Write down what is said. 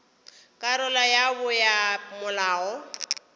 karolo ya bo ya molao